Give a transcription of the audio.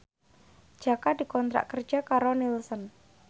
Jaka dikontrak kerja karo Nielsen